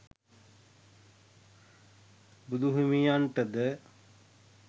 බුදු හිමියන්ටද